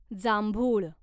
जांभूळ